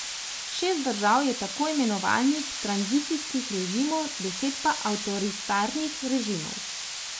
Šest držav je tako imenovanih tranzicijskih režimov, deset pa avtoritarnih režimov.